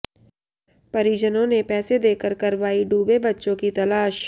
परिजनों ने पैसे देकर करवाई डूबे बच्चों की तलाश